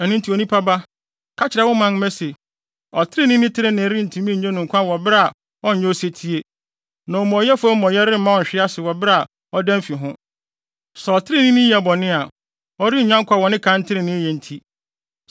“Ɛno nti onipa ba, ka kyerɛ wo manmma se, ‘Ɔtreneeni trenee rentumi nnye no nkwa wɔ bere a ɔnyɛ osetie; na omumɔyɛfo amumɔyɛ remma ɔnhwe ase wɔ bere a ɔdan fi ho. Sɛ ɔtreneeni yɛ bɔne a, ɔrennya nkwa wɔ ne kan treneeyɛ nti.’